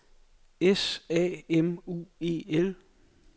S A M U E L